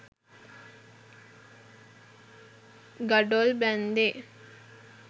ගඩොල් බැන්දේ